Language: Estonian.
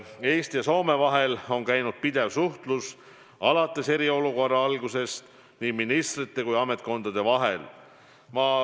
Eesti ja Soome vahel on alates eriolukorra algusest käinud pidev suhtlus nii ministrite kui ka ametkondade vahel.